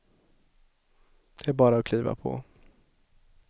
Det är bara att kliva på.